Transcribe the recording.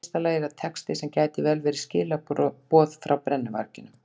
Í fyrsta lagi er það texti sem gæti vel verið skilaboð frá brennuvarginum.